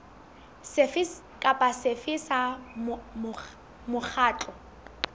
sefe kapa sefe sa mokgatlo